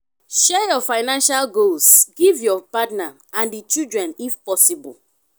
share your financial goals give your partner and di children if possible